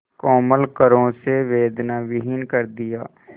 कोमल करों से वेदनाविहीन कर दिया